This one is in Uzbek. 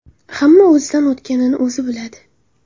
Hamma o‘zidan o‘tganini o‘zi biladi.